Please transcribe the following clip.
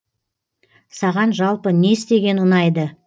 саған жалпы не істеген ұнайды